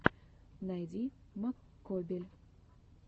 найди маккобель